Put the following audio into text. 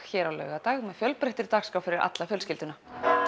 hér á laugardag með fjölbreyttri dagskrá fyrir alla fjölskylduna